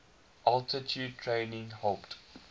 altitude training helped